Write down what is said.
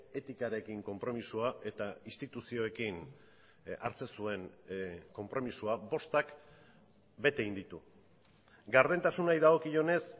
etikarekin konpromisoa eta instituzioekin hartzen zuen konpromisoa bostak bete egin ditu gardentasunari dagokionez